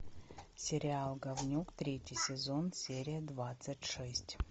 сериал говнюк третий сезон серия двадцать шесть